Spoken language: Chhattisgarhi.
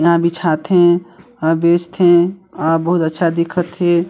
यहाँ बिछाथे अ बेचथे आर बहुत अच्छा दिखथ हे।